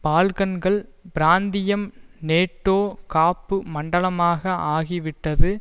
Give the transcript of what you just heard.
பால்கன்கள் பிராந்தியம் நேட்டோ காப்பு மண்டலமாக ஆகிவிட்டது